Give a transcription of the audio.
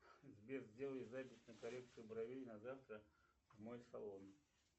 сбер сделай запись на коррекцию бровей на завтра в мой салон